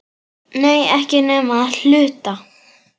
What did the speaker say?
Nei, ekki nema að hluta.